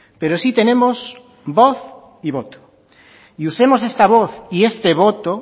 pero sí tenemos voz y voto y usemos esta voz y este voto